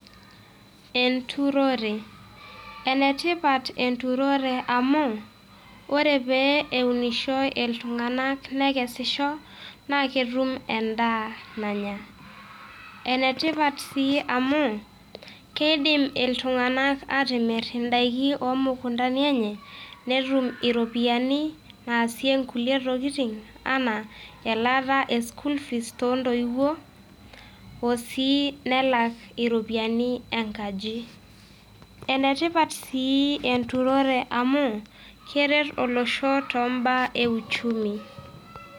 Enturore , enetipat enturore amu ore pee eunisho iltung`anak nekesisho naa ketum en`daa nanya. enetipat sii amu keidim iltung`anak aatimirr in`daikin oo mukuntani enye netum iropiyiani naasie nkulie tokitin enaa elaata e school fees too ntoiwuo o sii nelak irropiyini enkaji. Enetipat sii enturore amu keret olosho too m`baa e uchumi.